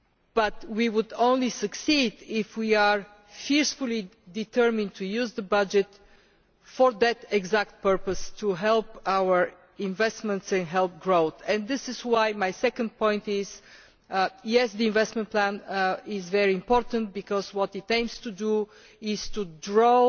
But we will only succeed if we are fiercely determined to use the budget for that exact purpose to help our investments and help growth. This is why my second point is yes, the investment plan is very important because what it aims to do is to draw